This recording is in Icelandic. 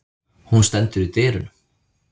Hún stendur í dyrunum.